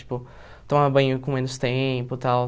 Tipo, tomar banho com menos tempo, tal.